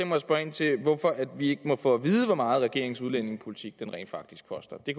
mig at spørge ind til hvorfor vi ikke må få at vide hvor meget regeringens udlændingepolitik rent faktisk koster det